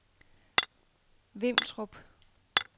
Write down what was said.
Vimtrup